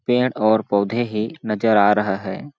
पेड़ और पौधे ही नज़र आ रहा है।